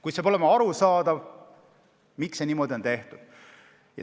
Kuid peab olema arusaadav, miks on see otsus niimoodi tehtud.